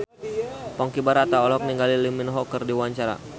Ponky Brata olohok ningali Lee Min Ho keur diwawancara